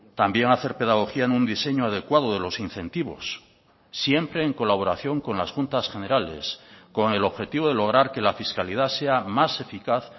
también hacer pedagogía en un diseño adecuado de los incentivos siempre en colaboración con las juntas generales con el objetivo de lograr que la fiscalidad sea más eficaz